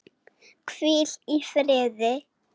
Hvíl í friði.